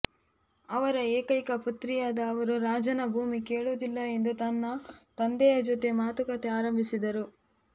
ಅವರ ಏಕೈಕ ಪುತ್ರಿಯಾದ ಅವರು ರಾಜನ ಭೂಮಿ ಕೇಳುವುದಿಲ್ಲ ಎಂದು ತನ್ನ ತಂದೆಯ ಜೊತೆ ಮಾತುಕತೆ ಆರಂಭಿಸಿದರು